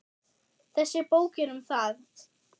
Þessi bók er um það.